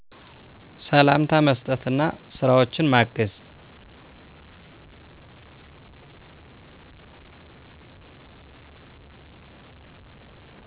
ሰላምታ መስጠት አና ስራወችን ማገዝ